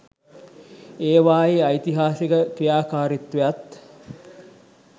ඒවායේ ඓතිහාසික ක්‍රියාකාරීත්වයත්